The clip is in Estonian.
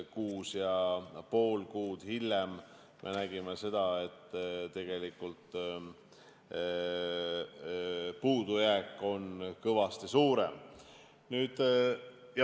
Kuus ja pool kuud hiljem me nägime, et puudujääk on kõvasti suurem.